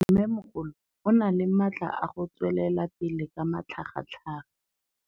Mmêmogolo o na le matla a go tswelela pele ka matlhagatlhaga.